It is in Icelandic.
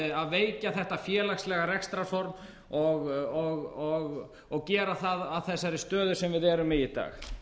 að veikja þetta félagslega rekstrarform og gera það að þessari stöðu sem við erum í í dag